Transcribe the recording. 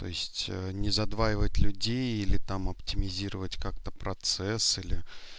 то есть не задваивает людей или там оптимизировать как-то процесс или